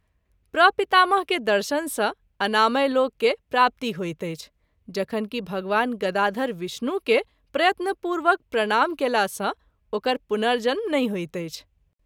प्रपितामह के दर्शन सँ अनामयलोक के प्राप्ति होइत अछि जखन कि भगवान गदाधर विष्णु के प्रयत्न पूर्वक प्रणाम कएला सँ ओकर पुनर्जन्म नहिं होइत अछि।